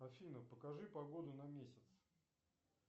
афина покажи погоду на месяц